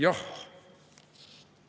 Jah!